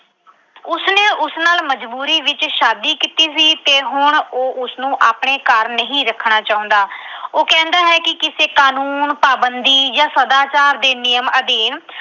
ਉਸ ਨਾਲ ਮਜਬੂਰੀ ਵਿੱਚ ਸ਼ਾਦੀ ਕੀਤੀ ਸੀ ਤੇ ਹੁਣ ਉਹ ਉਸਨੂੰ ਆਪਣੇ ਘਰ ਨਹੀਂ ਰੱਖਣਾ ਚਾਹੁੰਦਾ। ਉਹ ਕਹਿੰਦਾ ਹੈ ਕਿ ਕਿਸੇ ਕਾਨੂੰਨ, ਪਾਬੰਦੀ ਜਾਂ ਸਦਾਚਾਰ ਦੇ ਨਿਯਮ ਅਧੀਨ